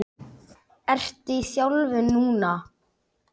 Ertu í þjálfun núna?